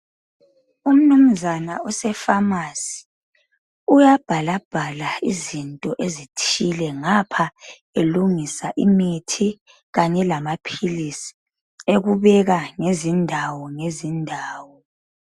Umnumuzana osefamasi ,uyabhalabhala izinto ezithile ngapha elungisa , imithi kanye lamaphilisi ekubeka ngezindawo ngezindawo.